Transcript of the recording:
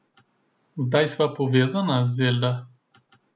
Zdaj sva povezana, Zelda.